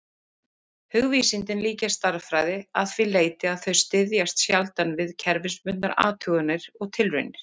Hugvísindin líkjast stærðfræði að því leyti að þau styðjast sjaldan við kerfisbundnar athuganir og tilraunir.